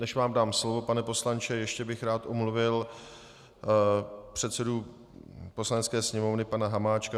Než vám dám slovo, pane poslanče, ještě bych rád omluvil předsedu Poslanecké sněmovny pana Hamáčka.